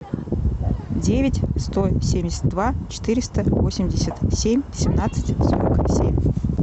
девять сто семьдесят два четыреста восемьдесят семь семнадцать сорок семь